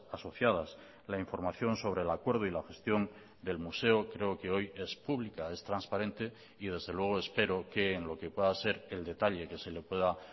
asociadas la información sobre el acuerdo y la gestión del museo creo que hoy es pública es transparente y desde luego espero que en lo que pueda ser el detalle que se le pueda